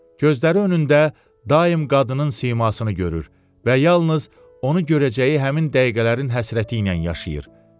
Gözləri önündə daim qadının simasını görür və yalnız onu görəcəyi həmin dəqiqələrin həsrəti ilə yaşayır.